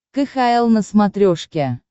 кхл на смотрешке